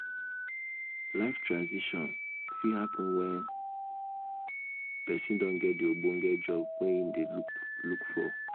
life transition fit happen when person don get di ogbonge job wey im dey look look for um